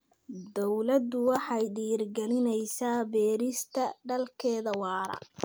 Dawladdu waxay dhiirigelinaysaa beerista dalagyada waara.